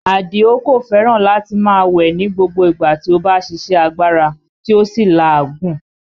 Àdìó kò fẹ́ràn láti máa wẹ̀ ni gbogbo ìgbà tí ó bá ṣíṣe agbára tí ó sì ń la òógùn